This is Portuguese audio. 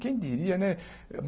Quem diria, né?